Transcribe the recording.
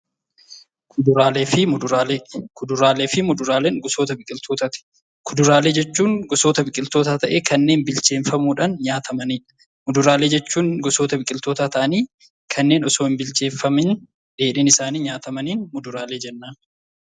Kuduraalee fi muduraalee. Kuduraalee fi muduraalee jechuun gosoota biqiltootaati. Kuduraaleen gosoota biqiltootaa ta'ee kanneen bilcheeffamuudhaan nyaatamanii dha. Muduraalee jechuun gosoota biqiltootaa ta'anii kanneen osoo hin bilcheeffamin dheedhiin isaanii nyaatamaniin mudraalee jenna.